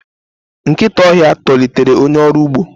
nkịta ọhịa tolitere onye ọrụ ugbo